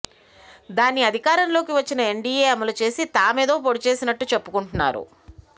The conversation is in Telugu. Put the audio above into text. దాన్ని అధికారంలోకి వచ్చిన ఎన్డీఏ అమలు చేసి తామేదో పొడిచేసినట్టు చెప్పుకుంటున్నారు